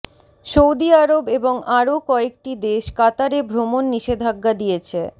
Saudi আরব এবং আরও কয়েকটি দেশ কাতারে ভ্রমণ নিষেধাজ্ঞা দিয়েছে